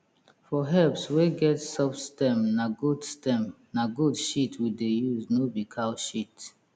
for herbs wey get soft stem na goat stem na goat shit we dey use no be cow shit